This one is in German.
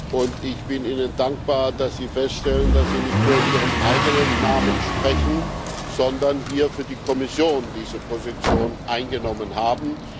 Und ich bin dankbar, dass Sie feststellen, dass Sie nicht nur in Ihrem eigenen Namen sprechen, sondern hier für die Kommission diese Position eingenommen haben.